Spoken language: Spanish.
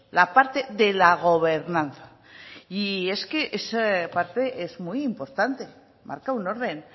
la parte de la gobernanza y es que esa parte es muy importante marca un orden